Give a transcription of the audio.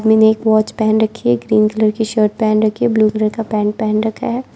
आदमी ने एक वॉच पहन रखी है ग्रीन कलर की शर्ट पहन रखी है ब्लू कलर का पैंट पहन रखा है।